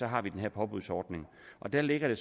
har den her påbudsordning og der ligger